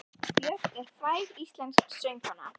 Björk er fræg íslensk söngkona.